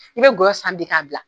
I bɛ gɔyɔ san bi k'a bila